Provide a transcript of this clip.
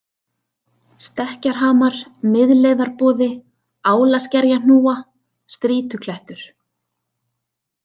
Stekkjarhamar, Miðleiðarboði, Álaskerjahnúa, Strýtuklettur